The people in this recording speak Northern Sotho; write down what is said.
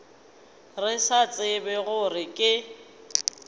re sa tsebe gore ke